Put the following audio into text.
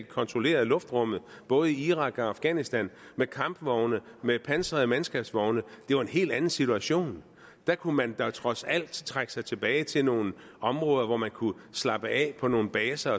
kontrollerede luftrummet både i irak og afghanistan med kampvogne med pansrede mandskabsvogne det var en helt anden situation der kunne man da trods alt trække sig tilbage til nogle områder hvor man kunne slappe af på nogle baser